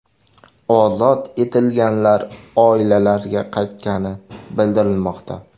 Ozod etilganlar oilalariga qaytgani bildirilmoqda.